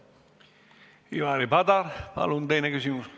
Ivari Padar, palun teine küsimus!